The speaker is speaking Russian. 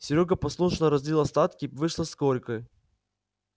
серёга послушно разлил остатки вышло сколько